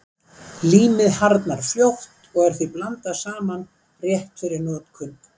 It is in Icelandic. Límið harðnar fljótt og er því blandað saman rétt fyrir notkun.